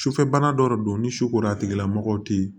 Sufɛ bana dɔ de don ni sukoro a tigilamɔgɔ te yen